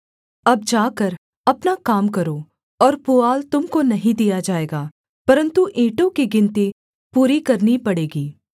अब जाकर अपना काम करो और पुआल तुम को नहीं दिया जाएगा परन्तु ईंटों की गिनती पूरी करनी पड़ेगी